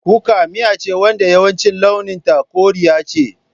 Kuka miya ce wadda yawanci launin ta koriya ce.